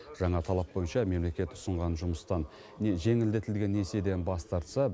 жаңа талап бойынша мемлекет ұсынған жұмыстан не жеңілдетілген несиеден бас тартса